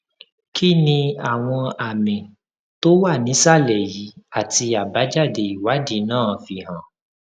kí ni àwọn àmì tó wà nísàlè yìí àti àbájáde ìwádìí náà fi hàn